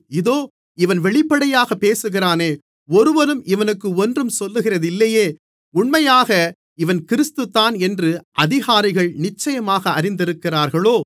இதோ இவன் வெளிப்படையாக பேசுகிறானே ஒருவரும் இவனுக்கு ஒன்றும் சொல்லுகிறதில்லையே உண்மையாக இவன் கிறிஸ்து தான் என்று அதிகாரிகள் நிச்சயமாக அறிந்திருக்கிறார்களோ